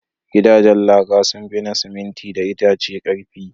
Gidajen laka sun fi na siminti da itace ƙarfi.